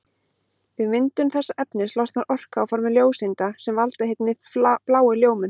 Við myndun þessa efnis losnar orka á formi ljóseinda sem valda hinni bláu ljómun.